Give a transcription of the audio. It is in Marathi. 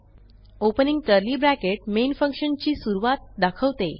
opening curly bracket main function ची सुरूवात दाखवते